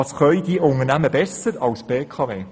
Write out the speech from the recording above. Was können diese Unternehmen besser als die BKW?